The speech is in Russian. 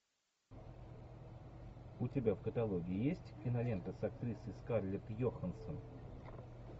у тебя в каталоге есть кинолента с актрисой скарлетт йоханссон